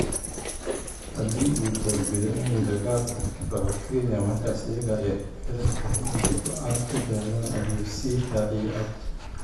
“Hadii uu door bido in dagaalku ka dhaco kenya markaas iyaga ayay ku xiran tahay inay go’aan ka gaaraan” ayuu sii raaciyay cabdi.